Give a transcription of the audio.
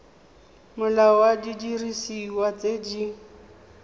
molao wa didiriswa tse di